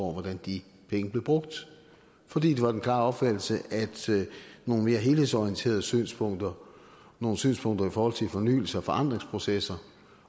hvordan de penge blev brugt for det var den klare opfattelse at nogle mere helhedsorienterede synspunkter nogle synspunkter i forhold til fornyelse og forandringsprocesser